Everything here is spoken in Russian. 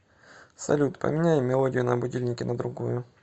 салют поменяй мелодию на будильнике на другую